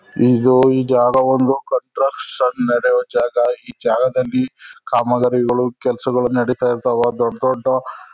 ಇದು ಇದ್ ಯಾವ್ದೋ ಒಂದು ಕನ್ಸ್ಟ್ರಕ್ಷನ್ ನಡಿಯೋ ಜಾಗ ಈ ಜಾಗದಲ್ಲಿ ಕಾಮಗಾರಿಗಳು ಕೆಲ್ಸಗಳು ನಡೀತಾ ಇರ್ತಾವ ದೊಡ್ ದೊಡ್ದು --